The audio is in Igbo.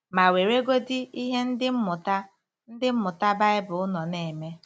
Ma, weregodị ihe Ndị Mmụta Ndị Mmụta Baịbụl nọ na-eme.